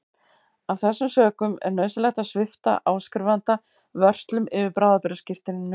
Af þessum sökum er nauðsynlegt að svipta áskrifanda vörslum yfir bráðabirgðaskírteininu.